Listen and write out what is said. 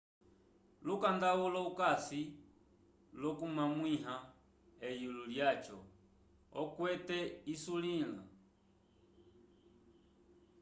lukanda ulo ukasi l'okukwamĩwa eyulo lyaco okwete isulila